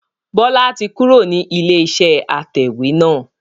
Bọlá tí kúrò ní ilé iṣẹ́ atẹ̀wẹ́ náà